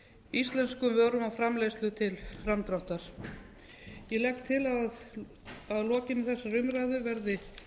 íslenskum vörum og framleiðslu til framdráttar ég legg til að að lokinni þessari umræðu verði